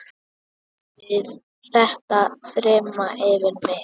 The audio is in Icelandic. Við þetta þyrmdi yfir mig.